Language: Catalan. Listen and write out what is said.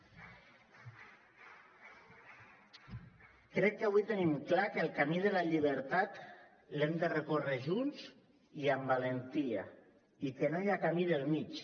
crec que avui tenim clar que el camí de la llibertat l’hem de recórrer junts i amb valentia i que no hi ha camí del mig